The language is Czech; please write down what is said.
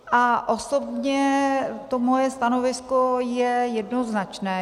A osobně to moje stanovisko je jednoznačné.